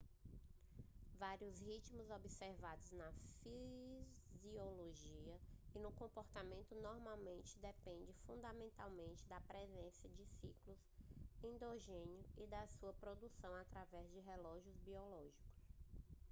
vários ritmos observados na fisiologia e no comportamento normalmente dependem fundamentalmente da presença de ciclos endógenos e da sua produção através de relógios biológicos